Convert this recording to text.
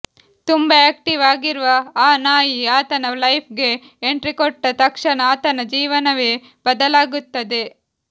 ತುಂಬಾ ಆ್ಯಕ್ಟೀವ್ ಆಗಿರುವ ಆ ನಾಯಿ ಆತನ ಲೈಫ್ಗೆ ಎಂಟ್ರಿಕೊಟ್ಟ ತಕ್ಷಣ ಆತನ ಜೀವನವೇ ಬದಲಾಗುತ್ತದೆ